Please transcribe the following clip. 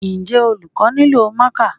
Njẹ́ olùkọ́ nílò marker?